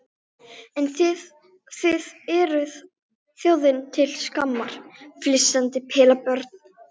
Farðu bara og talaðu við krossinn á gröfinni hans.